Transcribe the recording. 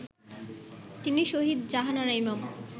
তিনি শহীদ জাহানারা ইমাম